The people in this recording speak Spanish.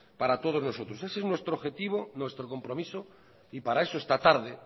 para todos nosotros ese es nuestro objetivo nuestro compromiso para eso esta tarde